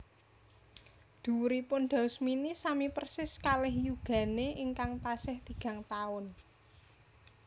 Dhuwuripun Daus Mini sami persis kalih yugane ingkang tasih tigang taun